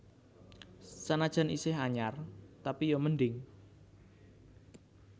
Senajan iseh anyar tapi yo mending